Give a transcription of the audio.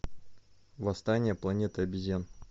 восстание планеты обезьян